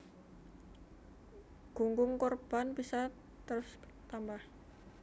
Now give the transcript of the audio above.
Gunggung korban bisa terus tambah